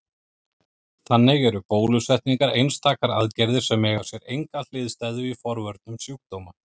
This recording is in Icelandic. Þannig eru bólusetningar einstakar aðgerðir sem eiga sér enga hliðstæðu í forvörnum sjúkdóma.